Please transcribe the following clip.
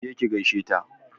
Ki je ki gaishe ta!